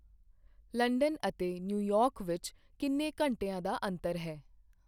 London ਅਤੇ New York ਵਿੱਚ ਕਿੰਨੇ ਘੰਟਿਆਂ ਦਾ ਅੰਤਰ ਹੈ?